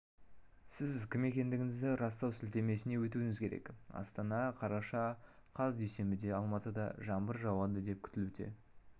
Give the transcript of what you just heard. сіз кім екендігіңізді растау сілтемесіне өтуіңіз керек астана қараша қаз дүйсенбіде алматыда жаңбыр жауады деп күтілуде